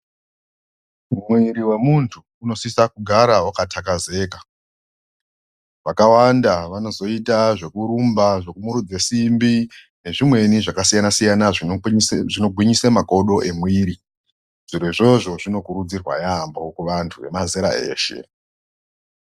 Mwiri wemuntu unosisa kugara wakathakazeka. Vakawanda vanozoita zvekurumba, zvekumirudza simbi nezvimweni zvakasiyana siyana zviwinyisa makodo mwemuviri. Zviro izvozvo zvinokurudzirwa yaamho ntu mazera eshe .